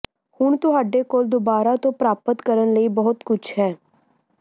ਹੁਣ ਤੁਹਾਡੇ ਕੋਲ ਦੁਬਾਰਾ ਤੋਂ ਪ੍ਰਾਪਤ ਕਰਨ ਲਈ ਬਹੁਤ ਕੁਝ ਹੈ